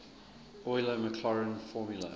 euler maclaurin formula